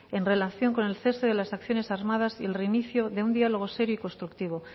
en relación con el cese de las acciones armadas y el reinicio de un diálogo serio y constructivo